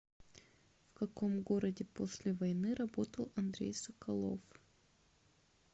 в каком городе после войны работал андрей соколов